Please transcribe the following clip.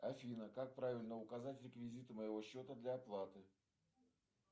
афина как правильно указать реквизиты моего счета для оплаты